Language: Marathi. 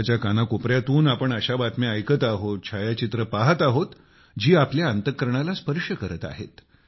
देशाच्या कानाकोपऱ्या तून आपण अशा बातम्या ऐकत आहोत छायाचित्रे पाहत आहोत जी आपल्या अंतःकरणाला स्पर्श करत आहेत